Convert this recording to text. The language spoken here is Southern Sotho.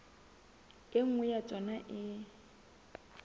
e nngwe ya tsona e